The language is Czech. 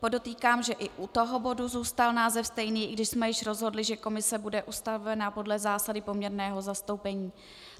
Podotýkám, že i u tohoto bodu zůstal název stejný, i když jsme již rozhodli, že komise bude ustavena podle zásady poměrného zastoupení.